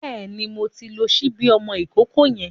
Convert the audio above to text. Bẹ́ẹ̀ni, mo ti ń lo ṣíbí ọmọ ìkókó yẹn.